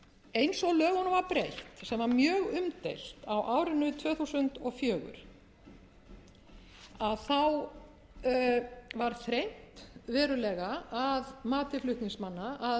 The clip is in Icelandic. eins og lögunum var breytt sem var mjög umdeilt á árinu tvö þúsund og fjögur var þrengt verulega að mati flutningsmanna að